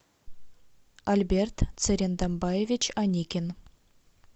альберт цырендамбаевич аникин